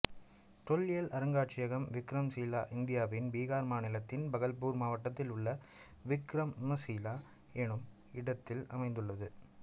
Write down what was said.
தொல்லியல் அருங்காட்சியகம் விக்ரம்சீலா இந்தியாவின் பீகார் மாநிலத்தின் பகல்பூர் மாவட்டத்தில் உள்ள விக்கிரமசீலா என்னும் இடத்தில் அமைந்துள்ளது